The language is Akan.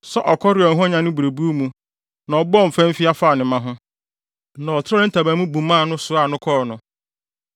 sɛ ɔkɔre a ɔhwanyan ne berebuw mu na ɔbɔ mfamfia fa ne mma ho, na ɔtrɛw ne ntaban mu buma no, soaa no kɔɔ no.